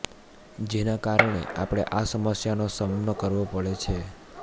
જેના કારણે આપણે આ સમસ્યા નો સામનો કરવો પડે છે